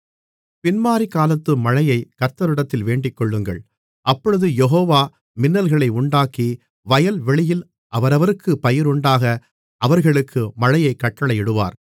பின்மாரிகாலத்து மழையைக் கர்த்தரிடத்தில் வேண்டிக்கொள்ளுங்கள் அப்பொழுது யெகோவா மின்னல்களை உண்டாக்கி வயல்வெளியில் அவரவருக்குப் பயிருண்டாக அவர்களுக்கு மழையைக் கட்டளையிடுவார்